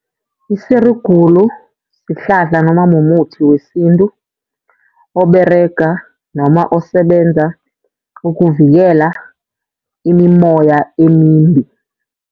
Isirugulu sihlahla noma mumuthi wesintu oberega noma osebenza ukuvikela imimoya emimbi.